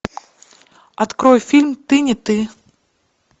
открой фильм ты не ты